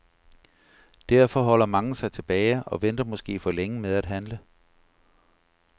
Derfor holder mange sig tilbage og venter måske for længe med at handle.